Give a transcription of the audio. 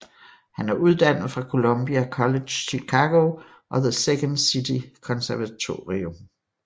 Han er uddannet fra Columbia College Chicago og The Second City Konservatorium